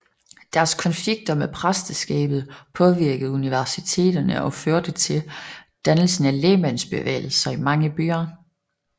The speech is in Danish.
Deres konflikter med præsteskabet påvirkede universiteterne og førte til dannelse af lægmandsbevægelser i mange byer